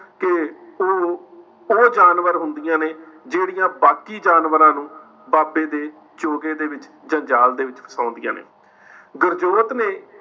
ਕਿ ਉਹ, ਉਹ ਜਾਨਵਰ ਹੁੰਦੀਆਂ ਨੇ ਜਿਹੜੀਆਂ ਬਾਕੀ ਜਾਨਵਰਾਂ ਨੂੰ ਬਾਬੇ ਦੇ ਚੋਗੇ ਦੇ ਵਿੱਚ ਜਾ ਜਾਲ ਦੇ ਵਿੱਚ ਫਸਾਉਂਦੀਆਂ ਨੇ। ਗੁਰਜੋਤ ਨੇ